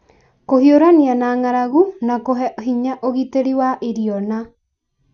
kũhiũrania na nga'aragu na kũhe hinya ũgitĩri wa irio na: